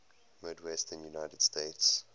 midwestern united states